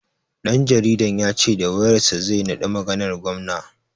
Ɗan jaridan ya ce da wayar sa zai naɗi maganar gwamna.